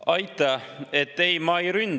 Aitäh!